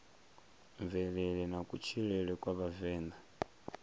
mvelele na kutshilele kwa vhavenḓa